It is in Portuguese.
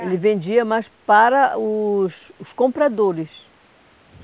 Ele vendia, mas para os os compradores.